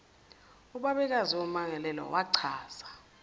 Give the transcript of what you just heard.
ubabekazi wommangalelwa wachaza